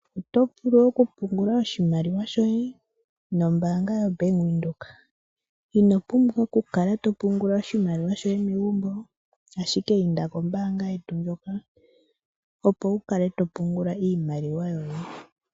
Otovulu oku pungula oshimaliwa shoye nombaanga ya Bank Windhoek. Inopumbwa oku kala to pungula oshimaliwa shoye megumbo. Ashike inda kombaanga yetu mbyoka opo wukale to pungula iimaliwa yoye.